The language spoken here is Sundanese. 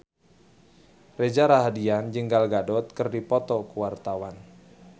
Reza Rahardian jeung Gal Gadot keur dipoto ku wartawan